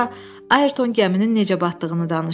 Sonra Ayrton gəminin necə batdığını danışdı.